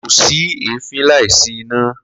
Ko si ẹfin laisi ina.